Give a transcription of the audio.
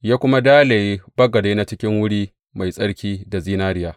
Ya kuma dalaye bagade na cikin wuri mai tsarki da zinariya.